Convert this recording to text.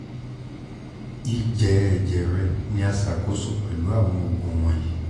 ijẹ ẹjẹ rẹ ni a ṣakoso pẹlu awọn oogun wọnyi